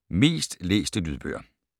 Mest læste lydbøger